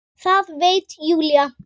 Það veit Júlía.